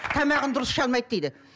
тамағын дұрыс іше алмайды дейді